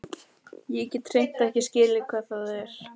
Ég get hreint ekki skilið hvað það er.